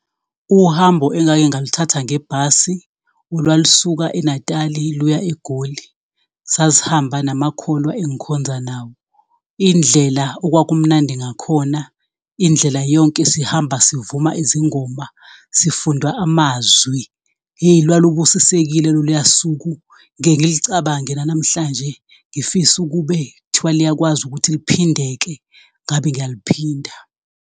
Uhambo engake ngaluthatha ngebhasi, olwalusuka eNatali luya eGoli. Sasihamba namakholwa engikhonza nawo, indlela okwakumnandi ngakhona indlela yonke sihamba sivuma izingoma, sifunda amazwi, yey lwalubusisekile loluya suku ngike ngilicabange nanamhlanje, ngifisa ukube kuthiwa liyakwazi ukuthi liphindeke ngabe ngiyaliphinda.